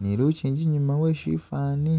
ni lukingi inyuma we shifwani.